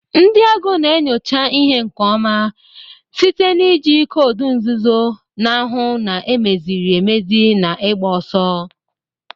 Ndị ego na-enyocha ihe nke ọma site na iji koodu nzuzo, na-ahu na emeziri emezie naigba ọsọ.